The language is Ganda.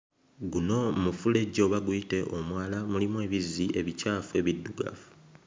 Guno mufulejje oba guyite omwala mulimu ebizzi ebicaafu ebiddugavu.